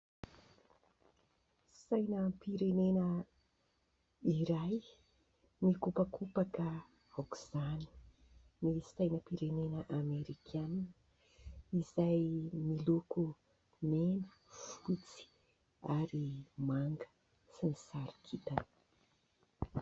Sainam-pirenena iray mikopakopaka aok'izany, ny sainam-pirenena Amerikanina izay miloko mena, fotsy ary manga sy ny sarin-kintana.